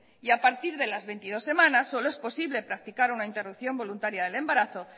y a partir de las veintidós semanas solo es posible practicar una interrupción voluntaria del embarazo